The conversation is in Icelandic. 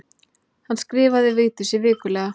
Hann skrifaði Vigdísi vikulega.